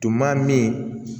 Tuma min